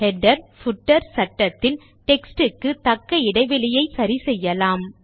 header footer சட்டத்தில் text க்கு தக்க இடைவெளியை சரி செய்யலாம்